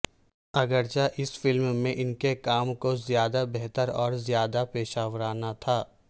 اگرچہ اس فلم میں ان کے کام کو زیادہ بہتر اور زیادہ پیشہ ورانہ تھا